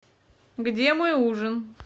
где мой ужин